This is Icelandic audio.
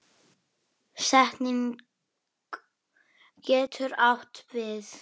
Frank bjóða til veislu.